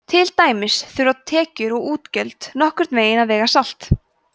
til dæmis þurfa tekjur og útgjöld nokkurn veginn að vega salt